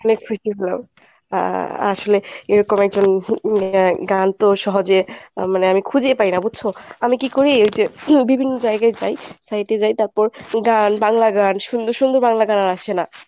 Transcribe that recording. অনেক খুশি হলাম। আসলে এরকম একজন গানতো সহজে আহ মানে আমি খুঁজেই পাই না বুঝছো? আমি কী করি ওই যে বিভিন্ন জায়গায় যাই site এ যাই তারপর গান বাংলা গান সুন্দর সুন্দর গান আর আসে না